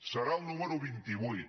serà el número vint vuit